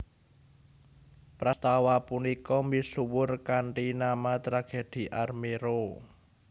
Prastawa punika misuwur kanthi nama Tragedhi Armero